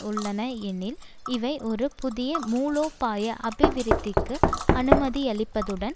உள்ளன ஏனெனில் இவை ஒரு புதிய மூலோபாய அபிவிருத்திக்கு அனுமதியளிப்பதுடன்